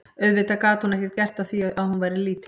Auðvitað gat hún ekkert gert að því að hún væri lítil.